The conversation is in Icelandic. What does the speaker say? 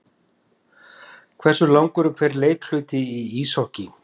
Hversu langur er hver leikhluti í íshokký?